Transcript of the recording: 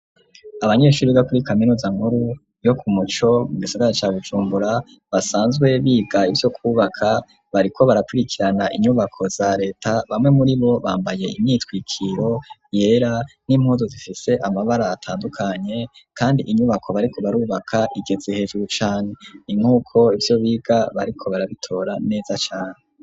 Abanyeshuri bo kuri kaminuza nkuru, yo ku muco, mu gisagara ca Bujumbura, basanzwe biga ivyo kubaka, bariko barakurikirana inyubako za leta, bamwe muri bo bambaye imyitwikiro yera, n'impuzu zifise amabara atandukanye, kandi inyubako bariko barubaka igeze hejuru cane. Ni nk'uko ivyo biga bariko barabitora, neza cane.